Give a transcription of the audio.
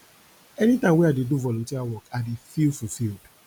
anytime wey i do volunteer work i dey feel fulfiled